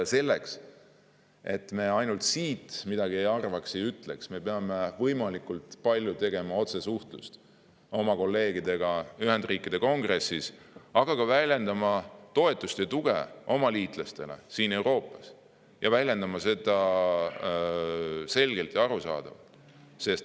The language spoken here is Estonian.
Ja selleks, et me ainult siit midagi ei arvaks ega ütleks, peame me võimalikult palju tegema otsesuhtlust oma Ühendriikide kolleegidega Kongressis, aga väljendama ka toetust ja tuge oma liitlastele siin Euroopas ning tegema seda selgelt ja arusaadavalt.